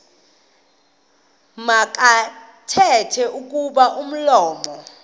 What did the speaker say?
makathethe kuba umlomo